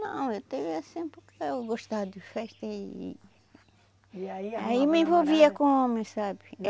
Não, eu tive assim porque eu gostava de festa e... Aí me envolvia com homem, sabe?